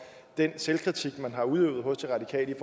den selvkritik man har udøvet hos de radikale i